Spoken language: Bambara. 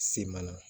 Se mana